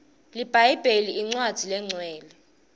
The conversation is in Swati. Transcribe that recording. libhayibheli incwadzi lenqcwele